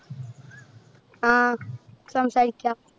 ആഹ് സംസാരിക്കാം.